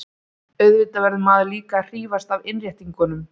Auðvitað verður maður líka að hrífast af innréttingunum.